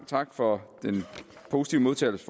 tak for den positive modtagelse